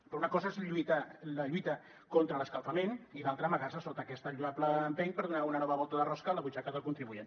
però una cosa és la lluita contra l’escalfament i l’altra amagar se sota aquest lloable empeny per donar una nova volta de rosca a la butxaca del contribuent